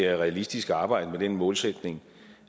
er realistisk at arbejde med den målsætning